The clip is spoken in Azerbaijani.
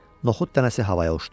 Noxud dənəsi havaya uçdu.